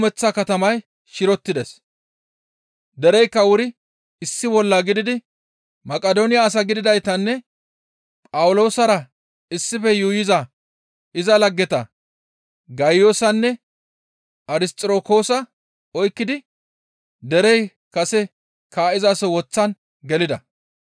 Heerakka kumeththa katamay shirotides; dereykka wuri issi bolla gididi Maqidooniya asa gididaytanne Phawuloosara issife yuuyiza iza laggeta Gayiyoosanne Arisxirokoosa oykkidi derey kase kaa7izaso woththan gelida.